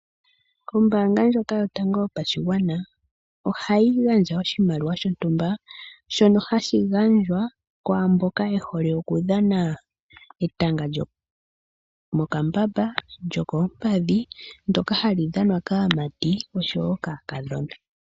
Ombaanga ndjoka yotango yopashigwana ohayi gandja oshimaliwa shontumba shono hashi gandjwa kwaamboka ye hole okudhana etanga lyomokambamba, lyokoompadhi ndoka hali dhanwa kaamati oshowo kaakadhona.